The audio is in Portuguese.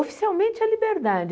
Oficialmente é Liberdade.